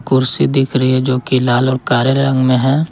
कुर्सी दिख रही है जो कि लाल और काले रंग में है।